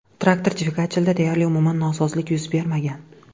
Traktor dvigatelida deyarli umuman nosozlik yuz bermagan.